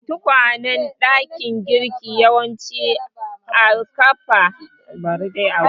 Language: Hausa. Katakwayen dakin girki yawanci kafa su ake a dakin girkin.